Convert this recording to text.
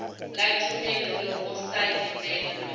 la tumello go sa lebellwe